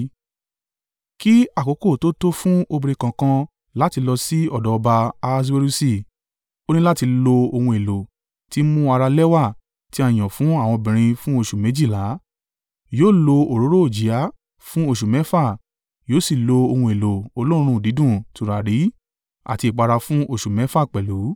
Kí àkókò tó tó fún obìnrin kọ̀ọ̀kan láti lọ sí ọ̀dọ̀ ọba Ahaswerusi, ó ní láti lo ohun èlò tí ń mú ara lẹ́wà tí a yàn fún àwọn obìnrin fún oṣù méjìlá, yóò lo òróró òjìá fún oṣù mẹ́fà, yóò sì lo ohun èlò olóòórùn dídùn tùràrí àti ìpara fún oṣù mẹ́fà pẹ̀lú.